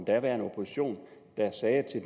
daværende opposition der sagde til